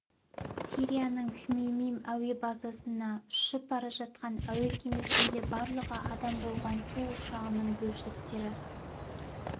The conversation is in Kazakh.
сирияның хмеймим әуе базасына ұшып бара жатқан әуе кемесінде барлығы адам болған ту ұшағының бөлшектері